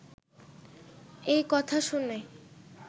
এই কথা শুনে